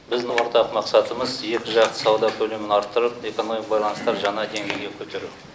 біздің ортақ мақсатымыз екіжақ сауда көлемін арттырып экономикалық байланыстар жаңа деңгейге көтеру